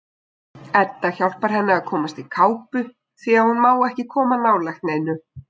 Edda hjálpar henni að komast í kápu því að hún má ekki koma nálægt neinu.